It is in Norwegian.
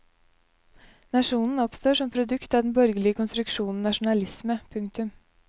Nasjonen oppstår som produkt av den borgerlige konstruksjonen nasjonalisme. punktum